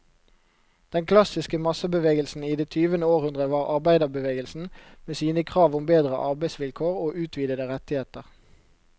Den klassiske massebevegelsen i det tyvende århundre var arbeiderbevegelsen, med sine krav om bedre arbeidsvilkår og utvidede rettigheter.